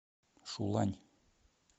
шулань